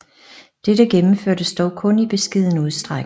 Dette gennemførtes dog kun i beskeden udstrækning